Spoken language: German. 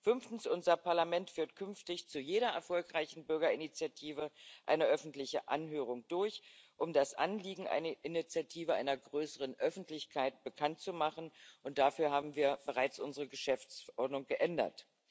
Fünftens führt unser Parlament künftig zu jeder erfolgreichen Bürgerinitiative eine öffentliche Anhörung durch, um das Anliegen einer Initiative einer größeren Öffentlichkeit bekannt zu machen, und dafür haben wir bereits unsere Geschäftsordnung geändert.